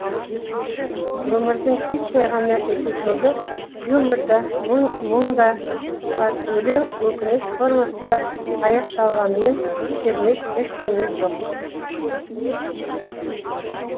өмірдің титтей ғана эпизоды юмор да мұң мұң да бар өлең өкініш формасында аяқталғанымен кермек ештеңе жоқ